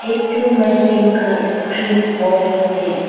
इथ मशीन का screen off है।